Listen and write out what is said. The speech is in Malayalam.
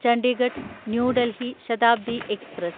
Chandigarh New Delhi Shatabdi express